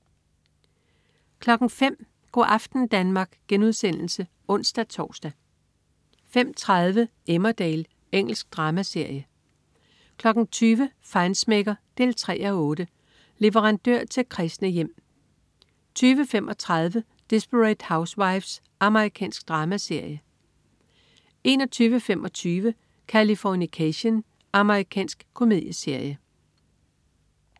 05.00 Go' aften Danmark* (ons-tors) 05.30 Emmerdale. Engelsk dramaserie 20.00 Feinschmecker 3:8. Leverandør til kræsne hjem 20.35 Desperate Housewives. Amerikansk dramaserie 21.25 Californication. Amerikansk komedieserie